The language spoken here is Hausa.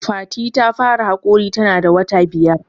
Fati ta fara haƙori ta na da wata biyar